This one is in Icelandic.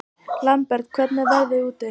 Lambert, hvernig er veðrið úti?